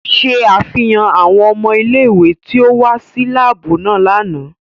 Ṣe afihan awọn ọmọ ile-iwe ti o wa si laabu lánà!